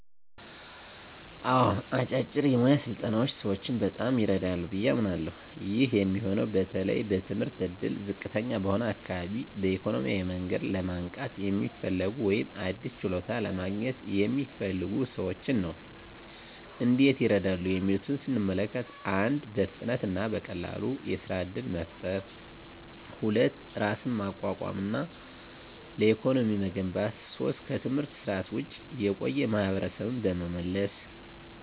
አዎ፣ አጫጭር የሞያ ስልጠናዎች ሰዎችን በጣም ይረዳሉ ብዬ አምናለሀ። ይህ የሚሆነው በተለይ በትምህርት እድል ዝቅተኛ በሆነ አካባቢ፣ በኢኮኖሚያዊ መንገድ ለማንቃት የሚፈልጉ፣ ወይም አዲስ ችሎታ ለማግኘት የሚፈልጉ ሰዎችን ነው። እንዴት ይረዳሉ የሚሉትን ስንመለከት፦ 1. በፍጥነት እና በቀላሉ የሥራ እድል መፍጠር 2. ራስን ማቋቋም እና ለኢኮኖሚ መገንባት 3. ከትምህርት ስርዓት ውጭ የቆዩ ማሀበረሰብን በመመለስ።